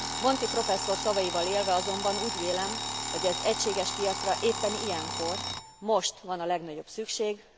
Monti professzor szavaival élve azonban úgy vélem, hogy az egységes piacra éppen ilyenkor, most van a legnagyobb szükség.